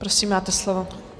Prosím, máte slovo.